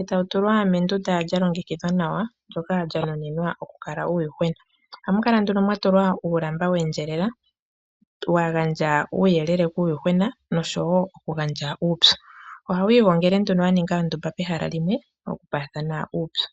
etawutulwa mendunda lyolongekidhwa nawa ndyoka lya nuninwa okukala uuyuhwena ohamukala mwatulwa uulamba weendjelela wagandja uuyelele nuupyu kuuyuhwena, uuyuhwena ohawiingongele pehala limwe tawiipe uupyu.